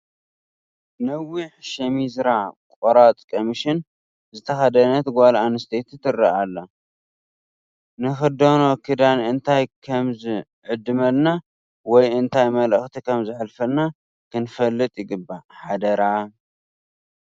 ነዊሕ ሸሚዝራ ቆራፅ ቀሚሽን ዝተኸደነት ጓል ኣነስተይቲ ትርአ ኣላ፡፡ ንኽደኖ ክዳን እንታይ ከምዝዕድመልና ወይ እንታይ መልእኽቲ ከምዘሕልፍ ክንፈልጥ ይግባእ፡፡ ሓደራ፡፡